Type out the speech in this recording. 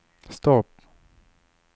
stopp